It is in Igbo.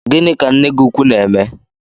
Gini ka nne gi ukwu na-eme?